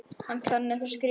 Hann kann ekki að skrifa.